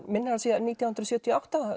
minnir nítján hundruð sjötíu og átta